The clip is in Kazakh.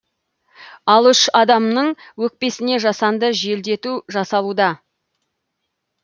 ал үш адамның өкпесіне жасанды желдету жасалуда